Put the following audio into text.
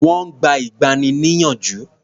Wọ́n gba ìgbani-níyànjú.